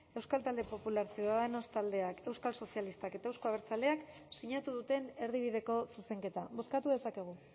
euskal talde popular ciudadanos taldeak euskal sozialistak eta euzko abertzaleak sinatu duten erdibideko zuzenketa bozkatu dezakegu